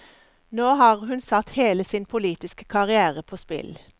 Nå har hun satt hele sin politiske karrière på spill.